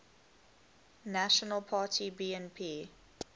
national party bnp